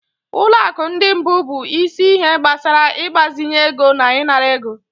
Ụlọ akụ ndị mbụ bụ isi ihe gbasara ịgbazinye ego na ịnara ego.